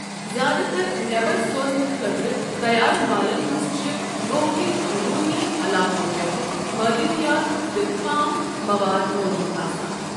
زِیٛادٕ تر نٮ۪بَر سوزنہٕ خٲطرٕ تَیار مالَن منٛز چھِ گوہٕک أنٛدرونی علاقَۄ پیٹھٕ معد نِیات تہٕ خام مَواد موٗجوٗد آسان۔